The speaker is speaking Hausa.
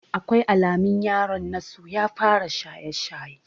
Akwai alamun yaron na so ya fara shaye-shaye.